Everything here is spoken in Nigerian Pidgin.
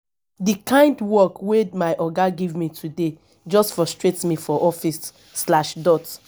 di kind work wey my oga give me today just frustrate me for office slash dot